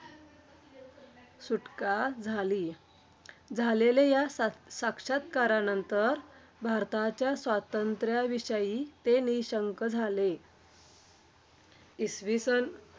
खरच आपल्या महाराष्ट्राचे मु उपमुख्यमंत्री आदरणीय देवे अजित दादा पवार यांनी.